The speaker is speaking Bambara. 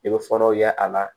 I bɛ fɔlɔw ye a la